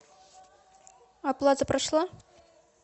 оплата прошла